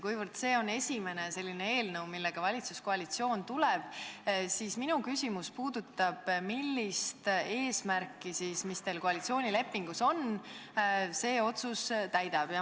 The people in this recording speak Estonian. Kuna see on esimene selline eelnõu, millega valitsuskoalitsioon välja tuleb, siis ma küsin: millist eesmärki, mis teil koalitsioonilepingus kirjas on, see otsus täidab?